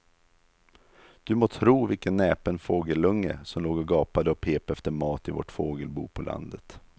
Du må tro vilken näpen fågelunge som låg och gapade och pep efter mat i vårt fågelbo på landet.